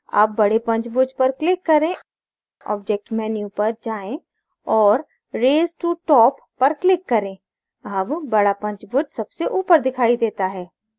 अब बडे पंचभुज पर click करें object menu पर जाएँ और raise to top पर click करें अब बडा पंचुभुज सबसे ऊपर दिखाई देता है